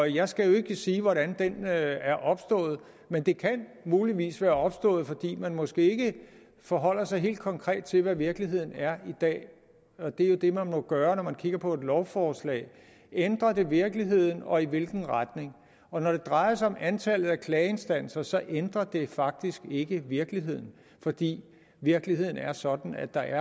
jeg skal ikke sige hvordan den er er opstået men den kan muligvis være opstået fordi man måske ikke forholder sig helt konkret til hvad virkeligheden er i dag og det er jo det man må gøre når man kigger på et lovforslag ændrer det virkeligheden og i hvilken retning og når det drejer sig om antallet af klageinstanser ændrer det faktisk ikke virkeligheden fordi virkeligheden er sådan at der